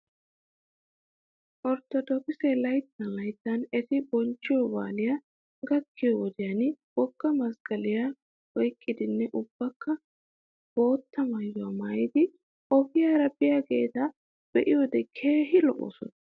Ortodokkiseti layttan layttan eti bonchchiyoo baalay gakkiyoo wodiyan wogga masqqaliyaa oyqqidinne ubbaykka bootta maayuwaa maayidi ogiyaara biyaageeta be'iyoode keehi lo'oosona